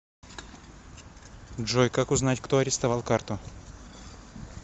джой как узнать кто арестовал карту